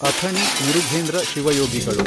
Athani Murughendra ಶಿವಯೋಗಿಗಳು